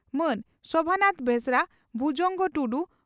ᱢᱟᱹᱱ ᱥᱚᱵᱷᱟᱱᱟᱛᱷ ᱵᱮᱥᱨᱟ ᱵᱷᱩᱡᱚᱝᱜᱚ ᱴᱩᱰᱩ